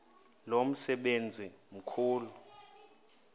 lo msebenzi mkhulu